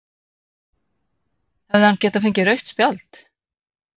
Hefði hann geta fengið rautt spjald?